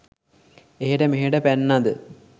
එහෙට මෙහෙට පැන්නද?